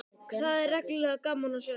Það er reglulega gaman að sjá þig!